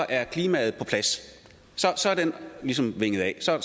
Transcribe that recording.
er klimaet på plads så er den ligesom hakket af så